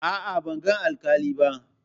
A'a, ban ga alƙali ba.